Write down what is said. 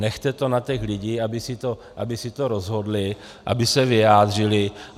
Nechte to na těch lidech, aby si to rozhodli, aby se vyjádřili.